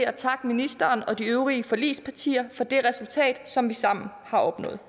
at takke ministeren og de øvrige forligspartier for det resultat som vi sammen har opnået